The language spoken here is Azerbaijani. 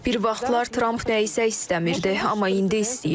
Bir vaxtlar Tramp nəyisə istəmirdi, amma indi istəyir.